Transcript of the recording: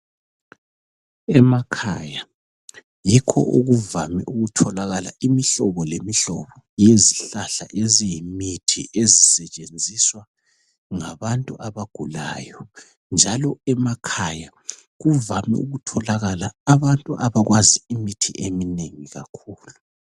Emakhaya yikho okuvame ukutholakala imihlobo lemihlobo yezihlahla eziyimithi ezisetshenziswa ngababantu abagulayo njalo emakhaya kuvame ukutholakala abantu abakwazi imithi eminengi kakhulu.